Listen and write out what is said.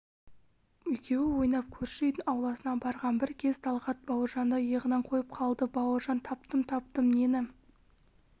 екеуі ойнап көрші үйдің ауласына барған бір кез талғат бауыржанды иығынан қойып қалды бауыржан таптым-таптым нені